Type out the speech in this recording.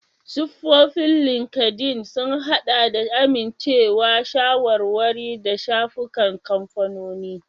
Siffofin Linkedln sun haɗa da amincewa, shawarwari, da shafukan kamfanoni.